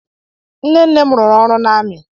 Nnenne m rụrụ ọrụ n'amị.